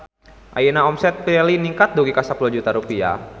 Ayeuna omset Pirelli ningkat dugi ka 10 juta rupiah